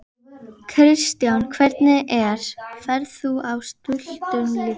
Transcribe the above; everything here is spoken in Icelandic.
Kristján: Hvernig er, ferð þú á stultur líka?